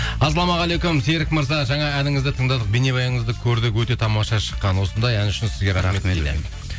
ассалаумағалейкум серік мырза жаңа әніңізді тыңдадық бейнебаяныңызды көрдік өте тамаша шыққан осындай ән үшін сізге рахмет дейді